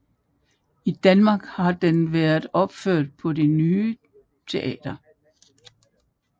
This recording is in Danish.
I Danmark har den været opført på Det Ny Teater